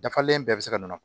Dafalen bɛɛ bɛ se ka nɔnɔ